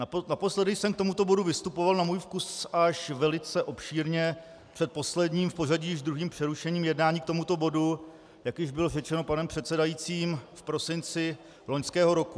Naposledy jsem k tomuto bodu vystupoval na můj vkus až velice obšírně před posledním, v pořadí již druhým přerušením jednání k tomuto bodu, jak již bylo řečeno panem předsedajícím, v prosinci loňského roku.